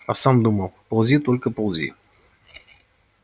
а сам думал ползи только ползи